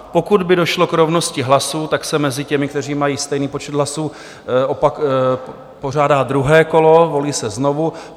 Pokud by došlo k rovnosti hlasů, tak se mezi těmi, kteří mají stejný počet hlasů, pořádá druhé kolo, volí se znovu.